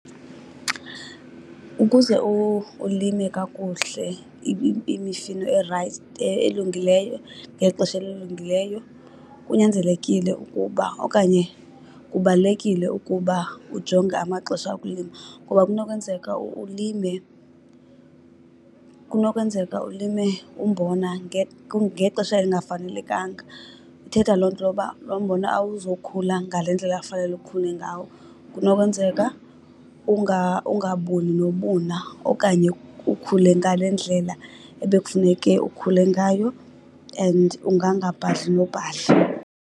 Ukuze ulime kakuhle imifino elungileyo ngexesha elilungileyo kunyanzelekile ukuba okanye kubalulekile ukuba ujonge amaxesha okulima. Ngoba kunokwenzeka ulime, kunokwenzeka ulime umbona ngexesha elingafanelekanga. Ithetha loo nto uba loo mbona awuzokhula ngale ndlela fanele ukhule ngawo. Kunokwenzeka ungabuni nobuna okanye ukhule ngale ndlela ebekufuneke ukhule ngayo and ungangabhadli nobhadla.